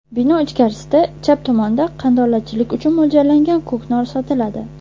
Bino ichkarisida, chap tomonda qandolatchilik uchun mo‘ljallangan ko‘knor sotiladi.